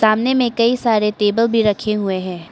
सामने में कई सारे टेबल भी रखे हुए हैं।